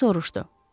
Buk soruşdu.